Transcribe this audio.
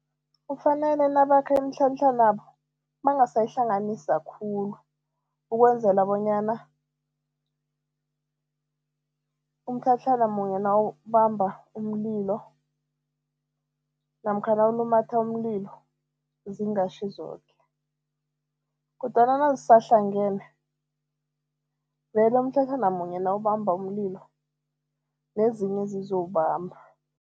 Kufanele nabakha imitlhatlhanabo bangasayihlanganisa khulu, ukwenzela bonyana umtlhatlhana munye nawubamba umlilo namkha nawulumatha umlilo, zingashi zoke kodwana nazisahlangene vele umtlhatlhana munye nawubamba umlilo nezinye zizowubamba.